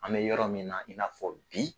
An bɛ yɔrɔ min na i n'a fɔ bi